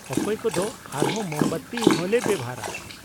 ᱚᱠᱚᱭ ᱠᱚᱫᱚ ᱟᱨᱦᱚᱸ ᱢᱳᱢᱵᱟᱛᱤ ᱦᱚᱸᱞᱮ ᱵᱮᱣᱦᱟᱨᱟ ᱾